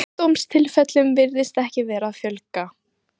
Sjúkdómstilfellum virðist ekki vera að fjölga.